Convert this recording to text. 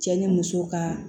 Cɛ ni muso ka